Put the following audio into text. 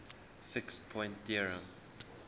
fixed point theorem